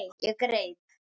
Ég greip